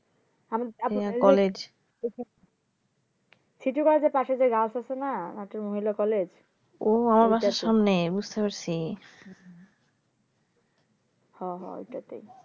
আমি আমি